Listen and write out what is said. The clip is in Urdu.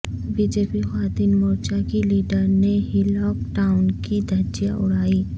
بی جے پی خواتین مورچہ کی لیڈرنے ہی لاک ڈائون کی دھجیاں اڑائیں